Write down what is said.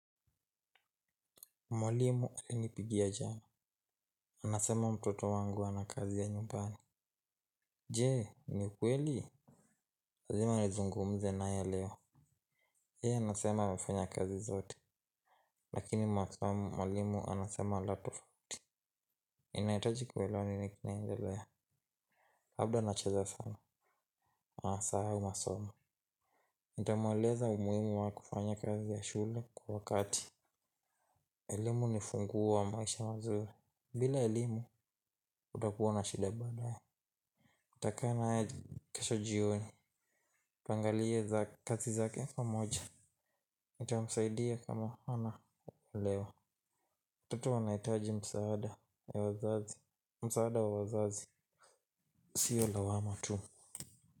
Mwalimu ainipigia jana. Anasema mtoto wangu ana kazi ya nyumbani. Je, ni kweli lazima nizungumze nae leo yeye anasema amefanya fanya kazi zote. Lakini masomo mwalimu anasema la tofauti. Ninahitaji kuelewa nini kinaendelea. Labda nacheza sana. Nasahau masomo. Nitamweleza umuhimu wa kufanya kazi ya shule kwa wakati. Elimu ni funguo wa maisha mazuri. Bila elimu utakuwa na shida badae. Tuta kaa naye kesho jioni tuangalie za kazi zake pamoja. Ita msaidia kama ana olewa watoto wanahitaji msaada wa wazazi. Msaada wa wazazi sio lawama tu.